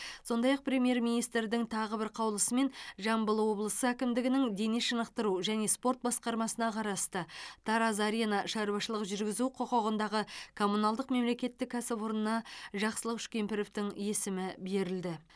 сондай ақ премьер министрдің тағы бір қаулысымен жамбыл облысы әкімдігінің дене шынықтыру және спорт басқармасына қарасты тараз арена шаруашылық жүргізу құқығындағы коммуналдық мемлекеттік кәсіпорнына жақсылық үшкемпіровтің есімі берілді